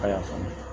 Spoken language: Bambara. A y'a faamu